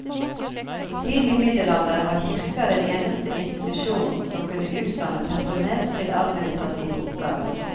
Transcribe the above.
I tidlig middelalder var kirka den eneste institusjonen som kunne utdanne personell til administrative oppgaver.